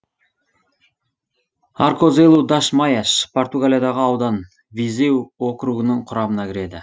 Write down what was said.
аркозелу даш майаш португалиядағы аудан визеу округінің құрамына кіреді